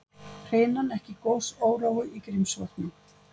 Hrinan ekki gosórói í Grímsvötnum